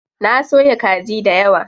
Na soya kaji dayawa.